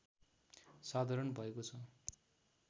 साधारण भएको छ